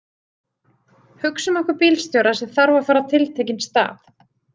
Hugsum okkur bílstjóra sem þarf að fara á tiltekinn stað.